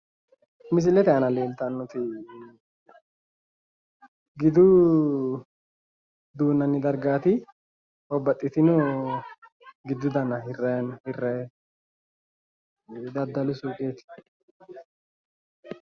Misilete aana leeltannoti gidu dunnanni dargaati babbaxxtino gidu dana hirranni daddalu suuqeeti.